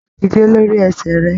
Dídé lórí ẹsẹ rẹ!